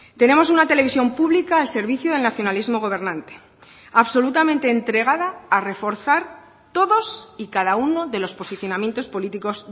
tenemos una televisión pública al servicio del nacionalismo gobernante absolutamente entregada a reforzar todos y cada uno de los posicionamientos políticos